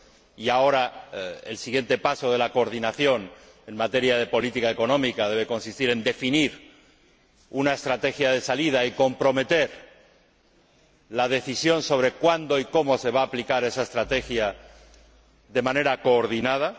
Y ahora, el siguiente paso de la coordinación en materia de política económica debe consistir en definir una estrategia de salida y comprometer la decisión sobre cuándo y cómo se va a aplicar esa estrategia de manera coordinada.